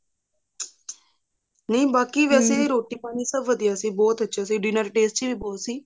ਨਹੀਂ ਬਾਕੀ ਵੇਸੇ ਰੋਟੀ ਪਾਣੀ ਸਭ ਵਧੀਆ ਸੀ dinner tasty ਵੀ ਬਹੁਤ ਸੀ